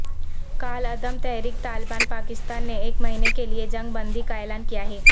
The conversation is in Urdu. کالعدم تحریک طالبان پاکستان نے ایک مہینے کے لیے جنگ بندی کا اعلان کیا ہے